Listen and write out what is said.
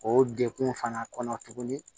O dekun fana kɔnɔ tuguni